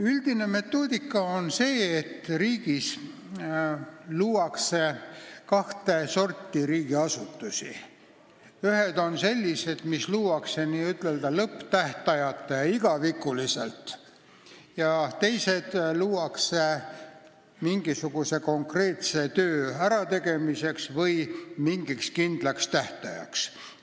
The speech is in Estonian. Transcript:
Üldine metoodika on see, et riigis luuakse kahte sorti riigiasutusi: ühed on sellised, mis luuakse ilma lõpptähtajata ja n-ö igavikuliselt, ning teised luuakse mingisuguse konkreetse töö ärategemiseks või mingiks kindlaks tähtajaks.